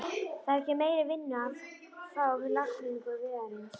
Það er ekki meiri vinnu að fá við lagningu vegarins.